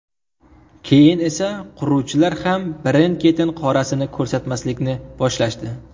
Keyin esa quruvchilar ham birin-ketin qorasini ko‘rsatmaslikni boshlashdi.